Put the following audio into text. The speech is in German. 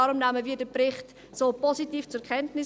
Deshalb nehmen wir den Bericht so positiv zur Kenntnis.